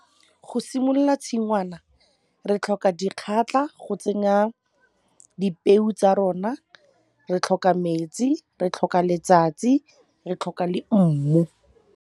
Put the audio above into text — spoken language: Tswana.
Go simolola tshingwana re tlhoka dikgatlha go tsenya dipeo tsa rona, re tlhoka metsi, re tlhoka letsatsi, re tlhoka le mmu.